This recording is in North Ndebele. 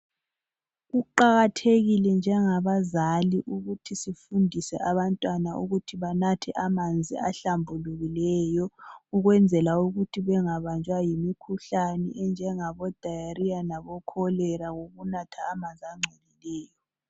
Kuqakathekile njengabazali ukuthi sifundise abantwana ukuthi banathe amanzi ahlambulukileyo ukuze bangabanjwa yimikhuhlane enjengabo diarrhoea labo cholera ngokunatha amanzi angcolileyo.